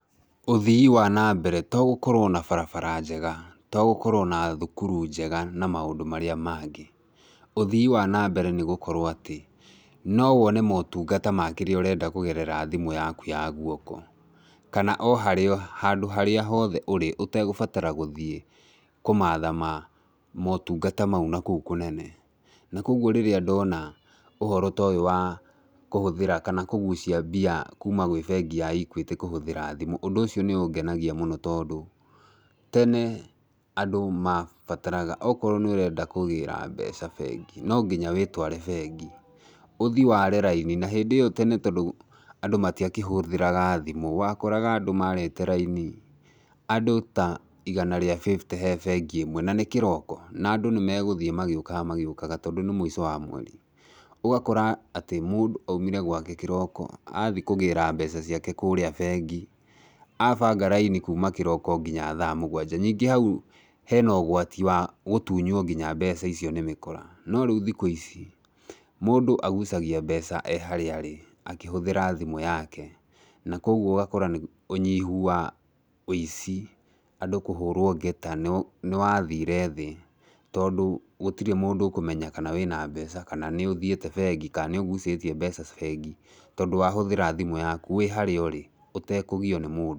Ũthii wa nambere to gũkorwo na barabara njega, to gũkorwo na thukuru njega na maũndũ marĩa mangĩ. Ũthii wa nambere nĩgũkorwo atĩ, no wone motungata ma kĩrĩa ũrenda kũgerera thimũ yaku ya guoko, kana o haria handũ haria hothe ũrĩ ũtegũbatara gũthiĩ kũmatha ma motungata mau na kũu kũnene, na koguo rĩrĩa ndona ũhoro ta ũyũ wa kũhũthĩra kana kũgucia mbia kuma kwĩ bengi ya Equity, kũhũthĩra thimũ, ũndũ ũcio nĩũngenagia mũno tondũ, tene andũ mabataraga okorwo nĩũrenda kũgĩra mbeca bengi, no nginya wĩtware bengi, ũthiĩ ware raini, na hĩndĩ ĩyo tene andũ matiakĩhũthĩraga thimũ, wakoraga andũ marĩte raini, andũ ta igana rĩa fifty he bengi ĩmwe na nĩ kĩroko, na andũ nĩmegũthiĩ magĩũka magĩũkaga, tondũ nĩ mũico wa mweri. Ũgakora atĩ mũndũ aumire gwaake kĩroko, athiĩ kũgĩra mbeca ciake kũrĩa bengi, abanga raini kuma kĩroko nginya thaa mũgwanja, ningĩ hau hena ũgwati wa gũtunywo nginya mbeca icio nĩ mĩkora. No rĩũ thikũ ici, mũndũ agucagia mbeca e harĩa arĩ, akĩhũthĩra thimũ yake, na koguo ũgakora nĩ ũnyihu wa ũici, andũ kũhũrwo ngeta nĩ nĩwathire thĩ, tondũ gũtirĩ mũndũ ũkũmenya kana wĩna mbeca, kana nĩũthiĩte bengi, kana nĩ ũgucitie mbeca bengi, tondũ wahũthĩra thimũ yaku wĩ harĩa ũrĩ ũtakũgiyo nĩ mũndũ.